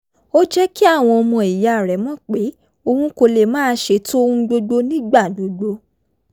ó jẹ́ kí àwọn ọmọ ìyá rẹ̀ mọ̀ pé òun kò lè máa ṣètò ohun gbogbo nígbà gbogbo